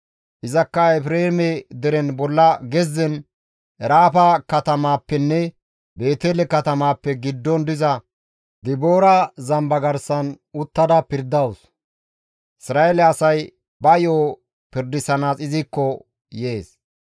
Izakka Efreeme deren bolla gezzen, Eraama katamaappenne Beetele katamaappe giddon diza Diboora zamba garsan uttada pirdawus; Isra7eele asay ba yo7o pirdisanaas izikko yees.